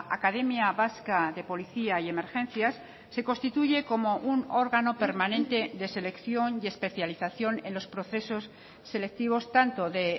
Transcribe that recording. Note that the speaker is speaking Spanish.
academia vasca de policía y emergencias se constituye como un órgano permanente de selección y especialización en los procesos selectivos tanto de